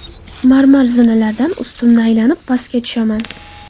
Marmar zinalardan ustunni aylanib pastga tushaman.